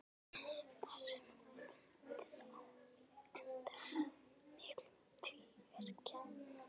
Þar með bundinn endi á mikinn tvíverknað.